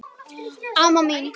Amma mín.